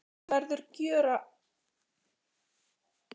Maður verður að gjöra svo vel að fylgja, hvað sem tautar og raular.